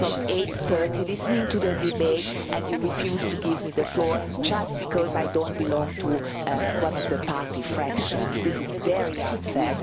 8.30, listening to the debate, and you refuse to give me the floor just because I do not belong to one of the party factions. This is very unfair.